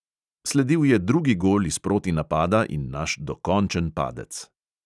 Sledil je drugi gol iz protinapada in naš dokončen padec.